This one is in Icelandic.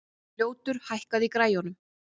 Ljótur, hækkaðu í græjunum.